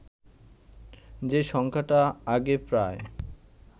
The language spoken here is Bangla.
যে সংখ্যাটা আগে প্রায়